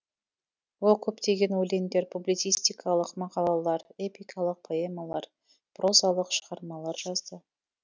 ол көптеген өлеңдер публицистикалық мақалалар эпикалық поэмалар прозалық шығармалар жазды